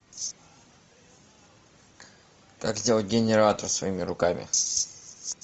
как сделать генератор своими руками